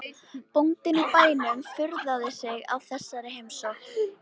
Bóndinn á bænum furðaði sig á þessari heimsókn.